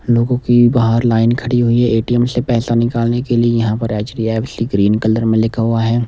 लोगों की बाहर लाइन खड़ी हुई है ए_टी_एम से पैसा निकालने के लिए यहाँ पर एच_डी_एफ_सी ग्रीन कलर में लिखा हुआ है।